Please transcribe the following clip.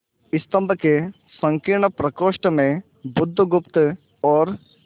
स्तंभ के संकीर्ण प्रकोष्ठ में बुधगुप्त और